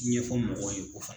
Ɲɛfɔ mɔgɔ ye k'o fana